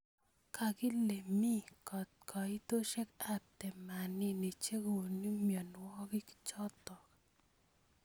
Kakile mi kaitoshek ab temanini chekonu mnyonwokik chotok.